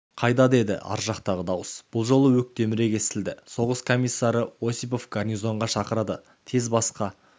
қайда деді ар жақтағы дауыс бұл жолы өктемірек естілді соғыс комиссары осипов гарнизонға шақырады тез басқа